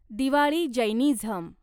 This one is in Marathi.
दिवाळी जैनिझम